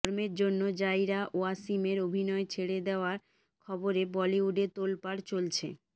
ধর্মের জন্য জাইরা ওয়াসিমের অভিনয় ছেড়ে দেওয়ার খবরে বলিউডে তোলপাড় চলছে